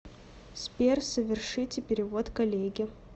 сбер совершите перевод коллеге